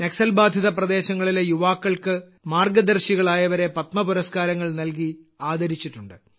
നക്സൽ ബാധിത പ്രദേശങ്ങളിലെ യുവാക്കൾക്ക് മാർഗ്ഗദർശികളായവരെ പത്മ പുരസ്കാരങ്ങൾ നൽകി ആദരിച്ചിട്ടുണ്ട്